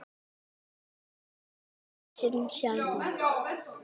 Hver árstíð hefur sinn sjarma.